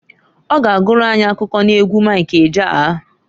Ọ ga agụrụ anyị akụkọ n'egwu Mik Ejeaya.